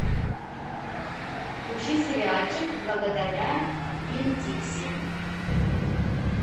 включи сериальчик благодаря винн дикси